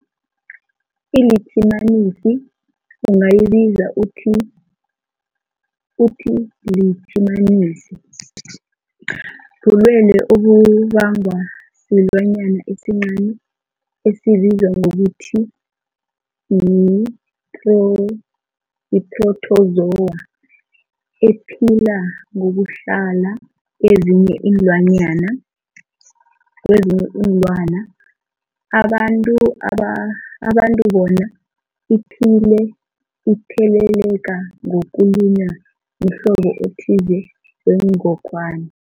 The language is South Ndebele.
ILitjhimanisi ungayibiza uthiyilitjhimanisi, bulwelwe obubangwa silwanyana esincani esibizwa ngokuthiyi-phrotozowa ephila ngokuhlala kezinye iinlwana, abantu bona iphile itheleleka ngokulunywa mhlobo othize wengogwana.